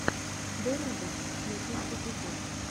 деруга первый эпизод